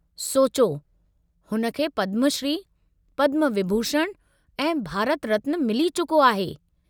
सोचो, हुन खे पद्मश्री, पद्मविभूषण ऐं भारत रत्न मिली चुको आहे।